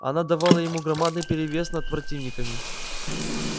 она давала ему громадный перевес над противниками